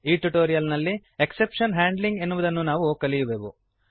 ಈ ಟ್ಯುಟೋರಿಯಲ್ ನಲ್ಲಿ exception handling ಎನ್ನುವುದನ್ನು ನಾವು ಕಲಿಯುವೆವು